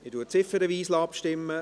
Ich lasse ziffernweise abstimmen.